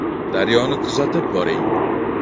“Daryo”ni kuzatib boring!